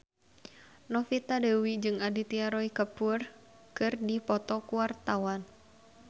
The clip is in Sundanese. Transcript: Novita Dewi jeung Aditya Roy Kapoor keur dipoto ku wartawan